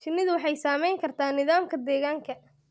Shinnidu waxay saamayn kartaa nidaamka deegaanka.